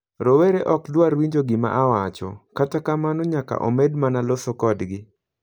Rowere ok dwar winjo gima awacho, kata kamano nyaka omed mana loso kodgi.